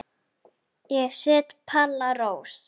Ég set Palla Rós.